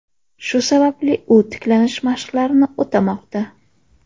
Shu sababli u tiklanish mashqlarini o‘tamoqda.